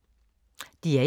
DR1